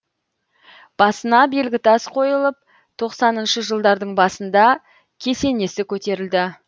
басына белгітас қойылып тоқсаныншы жылдардың басында кесенесі көтерілді